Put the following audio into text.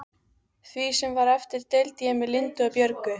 Því sem var eftir deildi ég með Lindu og Björgu.